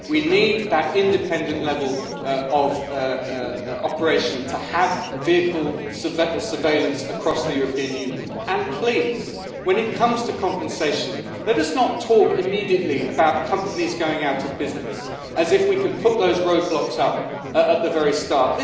We need that independent level of operation to have vehicle surveillance across the European Union. And please, when it comes to compensation, let us not talk immediately about companies going out of business, as if we could put those roadblocks up at the very start.